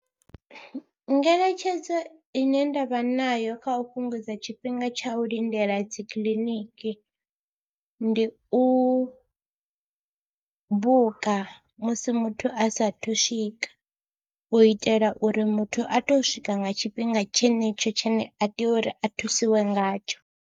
Ngeletshedzo ine nda vha nayo kha u fhungudza tshifhinga tsha u lindela dzi kiḽiniki ndi u buka musi muthu a saathu swika u itela uri muthu a tou swika nga tshifhinga tshenetsho tshine a tea uri a thusiwe ngatsho.